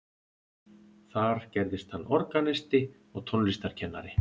þar gerðist hann organisti og tónlistarkennari